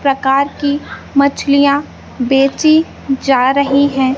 प्रकार की मछलियाँ बेची जा रही हैं।